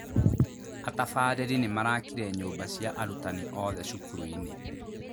Atabarĩri nĩmarakire nyumba cia arutani othe cukuru-inĩ